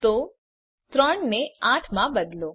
તો ૩ ને ૮ માં બદલો